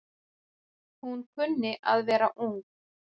Hún kunni að vera ung.